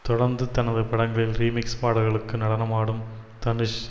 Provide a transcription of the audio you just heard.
தொடர்ந்து தனது படங்களில் ரீமிக்ஸ் பாடல்களுக்கு நடனமாடும் தனுஷ்